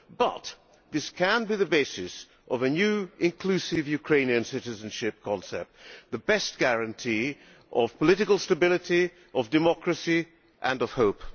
But this can be the basis of a new, inclusive Ukrainian citizenship concept the best guarantee of political stability, of democracy and of hope.